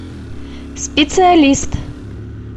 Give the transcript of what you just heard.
специалист